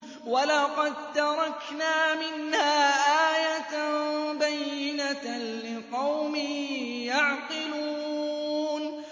وَلَقَد تَّرَكْنَا مِنْهَا آيَةً بَيِّنَةً لِّقَوْمٍ يَعْقِلُونَ